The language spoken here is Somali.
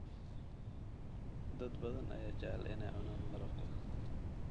Dad badan ayaa jecel inay cunaan malabka.